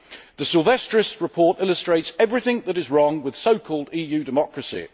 The Silvestris report illustrates everything that is wrong with so called EU democracy.